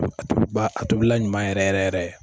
A tobiba a tobila ɲuman yɛrɛ yɛrɛ yɛrɛ